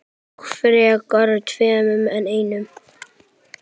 Og frekar tveimur en einum.